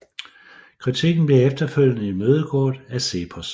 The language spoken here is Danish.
Kritikken blev efterfølgende imødegået af CEPOS